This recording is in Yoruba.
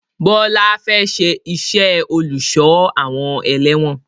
Bọlá fẹ́ ṣe iṣẹ́ olùsọ-awon-ẹlẹ̀wọn